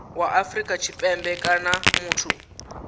wa afrika tshipembe kana muthu